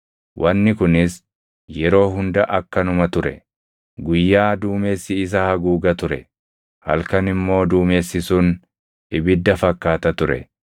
Wanni kunis yeroo hunda akkanuma ture; guyyaa duumessi isa haguuga ture; halkan immoo duumessi sun ibidda fakkaata ture.